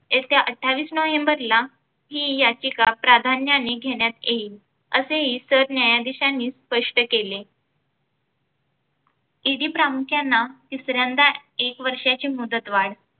येत्या अठ्ठावीस नवंबरला हि याचिका प्राध्यान्याने घेण्यात येईल, असेही सरन्यायाधीशांनी स्पष्ट केले. ED प्रामुख्याने तिसऱ्यांदा एक वर्षाची मुदतवाढ.